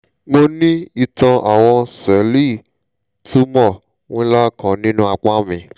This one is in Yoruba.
mo ní ìtàn àwọn sẹ́ẹ̀lì tumor ńlá kan nínú apá mi